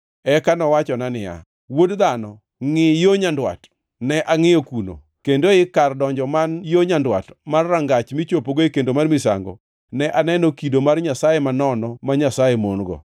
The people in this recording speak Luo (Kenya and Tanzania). Eka nowachona niya, “Wuod dhano, ngʼi yo nyandwat.” Ne angʼiyo kuno, kendo ei kar donjo man yo nyandwat mar rangach michopogo e kendo mar misango, ne aneno kido mar nyasaye manono ma Nyasaye mon-go.